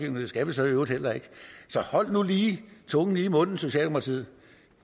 det skal vi så i øvrigt heller ikke så hold nu lige tungen lige i munden socialdemokratiet